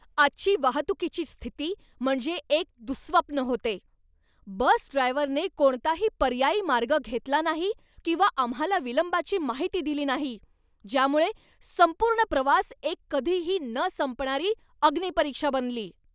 आजची वाहतुकीची स्थिती म्हणजे एक दुःस्वप्न होते. बस ड्रायव्हरने कोणताही पर्यायी मार्ग घेतला नाही किंवा आम्हाला विलंबाची माहिती दिली नाही, ज्यामुळे संपूर्ण प्रवास एक कधीही न संपणारी अग्निपरीक्षा बनली!